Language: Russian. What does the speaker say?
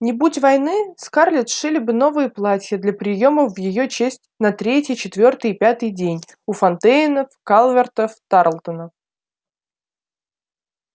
не будь войны скарлетт сшили бы новые платья для приёмов в её честь на третий четвёртый и пятый день у фонтейнов калвертов тарлтонов